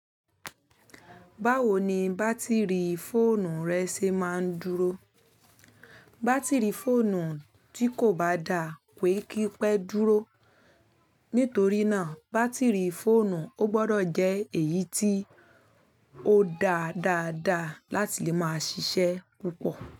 Báwo ni bátìrì fóònù rẹ ṣe máa ń dúró? Bátìrì fóònù tí kò bá dá pé kí pẹ́ dúró. Nítorí náà, bátìrì fóònù ó gbọdọ̀ jẹ́ èyí tí ó da dáadáa láti lè máa ṣiṣẹ́ púpọ̀